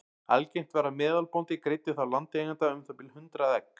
algengt var að meðalbóndi greiddi þá landeiganda um það bil hundrað egg